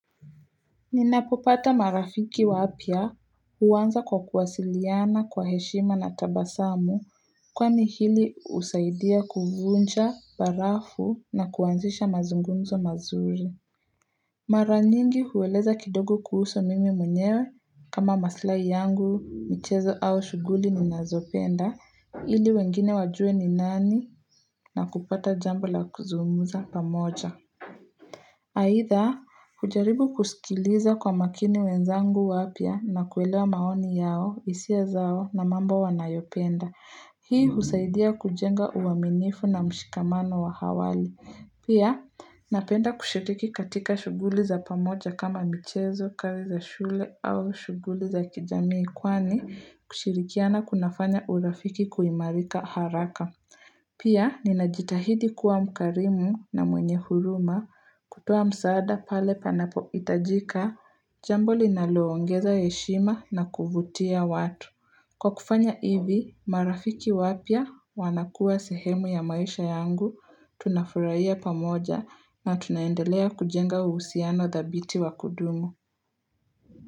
Ninapopata marafiki waapya huwanza kwa kuwasiliana kwa heshima na tabasamu kwani hili usaidia kuvunja, barafu na kuanzisha mazungumzo mazuri. Maranyingi huweleza kidogo kuhusu mimi mwenyewe kama maslai yangu, michezo au shuguli ninazopenda, ili wengine wajue ni nani na kupata jambo la kuzungumza pamoja. Aidha, kujaribu kusikiliza kwa makini wenzangu wapya na kuelewa maoni yao hisia zao na mambo wanayopenda. Hii husaidia kujenga uwaminifu na mshikamano wa awali. Pia, napenda kushiriki katika shuguli za pamoja kama michezo, kazi za shule au shuguli za kijamii kwani kushirikiana kunafanya urafiki kuimarika haraka. Pia, ninajitahidi kuwa mkarimu na mwenye huruma kutoa msaada pale panapo itajika, jambo linaloongeza heshima na kuvutia watu. Kwa kufanya hivi, marafiki wapya wanakuwa sehemu ya maisha yangu, tunafurahiya pamoja na tunaendelea kujenga uhusiano thabiti wa kudumu.